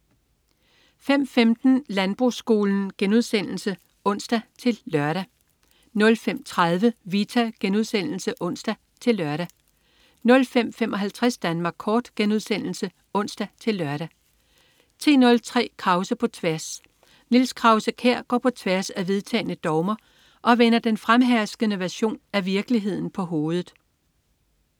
05.15 Landbrugsskolen* (ons-lør) 05.30 Vita* (ons-lør) 05.55 Danmark Kort* (ons-lør) 10.03 Krause på tværs. Niels Krause-Kjær går på tværs af vedtagne dogmer og vender den fremherskende version af virkeligheden på hovedet